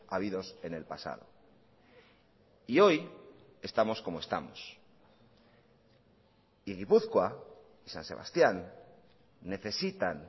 habidos en el pasado y hoy estamos como estamos y gipuzkoa san sebastián necesitan